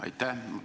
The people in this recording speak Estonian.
Aitäh!